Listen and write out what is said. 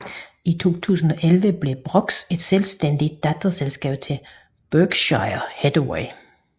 I 2011 blev Brooks et selvstændigt datterselskab til Berkshire Hathaway